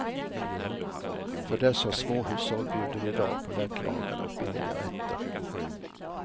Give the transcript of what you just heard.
För dessa småhushåll bjuder vi idag på lättlagade och billiga rätter.